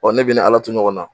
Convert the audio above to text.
Ɔ ne bɛ i ni Ala to ɲɔgɔn na.